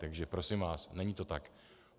Takže prosím vás, není to tak.